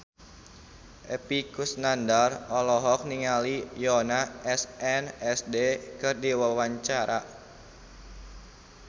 Epy Kusnandar olohok ningali Yoona SNSD keur diwawancara